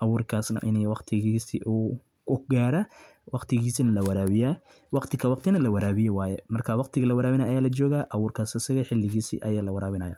abuurkas na in waqti lasiyo su kugara waqtigisana lawarabiyo waqti ka waqtina lawarabiyo waya marka waqti ga lawarabinay aya lajoga abuur kas asaga si xiligisi aya lawarabinaya